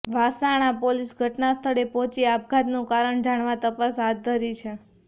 Vasna police ઘટનાસ્થળે પહોંચી આપઘાતનું કારણ જાણવા તપાસ હાથ ધરી છે